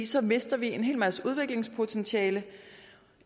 så mister en hel masse udviklingspotentiale